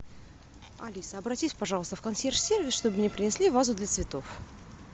алиса обратись пожалуйста в консьерж сервис чтобы мне принесли вазу для цветов